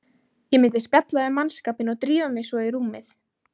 Ég myndi spjalla við mannskapinn og drífa mig svo í rúmið.